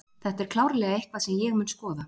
Þetta er klárlega eitthvað sem ég mun skoða.